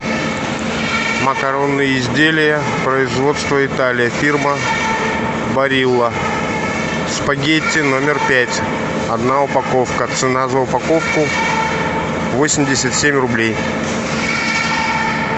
макаронные изделия производства италия фирма барилла спагетти номер пять одна упаковка цена за упаковку восемьдесят семь рублей